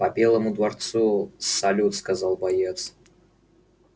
по белому дворцу салют сказал боец